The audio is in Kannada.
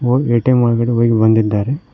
ಒಂದ್ ಎ_ಟಿ_ಎಂ ಒಳಗಡೆ ಹೋಗಿ ಬಂದಿದ್ದಾರೆ.